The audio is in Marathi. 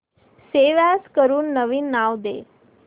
सेव्ह अॅज करून नवीन नाव दे